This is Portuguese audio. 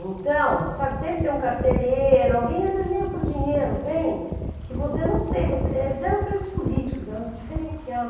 Então, sabe, sempre tem um carcereiro, alguém, às vezes nem é por dinheiro, vem, que você não sei, você, eles eram presos políticos, eram